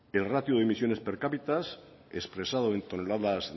el ratio de las emisiones per capitas expresados en toneladas